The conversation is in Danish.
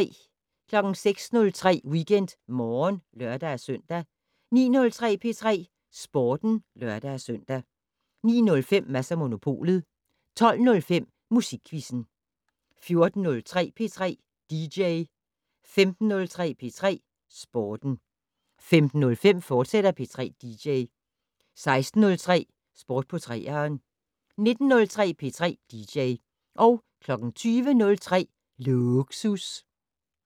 06:03: WeekendMorgen (lør-søn) 09:03: P3 Sporten (lør-søn) 09:05: Mads & Monopolet 12:05: Musikquizzen 14:03: P3 dj 15:03: P3 Sporten 15:05: P3 dj, fortsat 16:03: Sport på 3'eren 19:03: P3 dj 20:03: Lågsus